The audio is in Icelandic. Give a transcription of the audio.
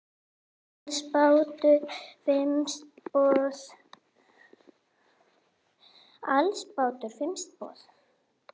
Alls bárust fimm tilboð.